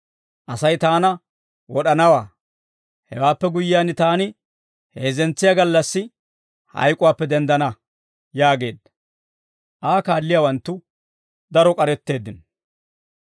Asay taana wod'anawaa; hewaappe guyyiyaan taani heezzentsiyaa gallassi hayk'uwaappe denddana» yaageedda. Aa kaalliyaawanttu daro k'aretteeddino.